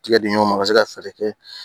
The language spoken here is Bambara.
Tigɛ diɲaga ma a bɛ se ka fɛɛrɛ kɛ